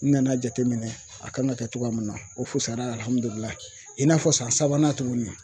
N nana jateminɛ a kan ka kɛ cogoya min na, o fusayara alihamidulilayi, i n'a fɔ san sabanan tuguni